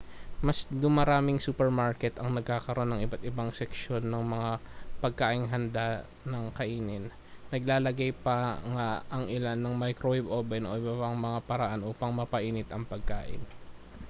mas dumaraming supermarket ang nagkakaroon ng iba't ibang seksyon ng mga pagkaing handa nang kainin naglalagay pa nga ang ilan ng microwave oven o ibang mga paraan upang mapainit ang pagkain